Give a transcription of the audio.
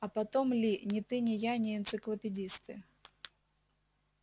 а потом ли ни ты ни я не энциклопедисты